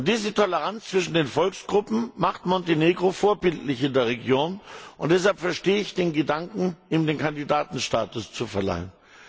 Diese Toleranz zwischen den Volksgruppen macht Montenegro vorbildlich in der Region. Deshalb verstehe ich den Gedanken, ihm den Kandidatenstatus zu verleihen.